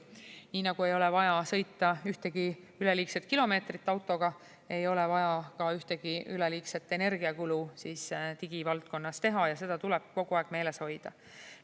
Nii nagu ei ole vaja sõita ühtegi üleliigset kilomeetrit autoga, ei ole vaja ka ühtegi üleliigset energiakulu digivaldkonnas teha ja seda tuleb kogu aeg meeles hoida.